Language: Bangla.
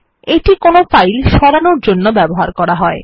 এইটি কোনো ফাইল সরানোর জন্য ব্যবহৃত হয়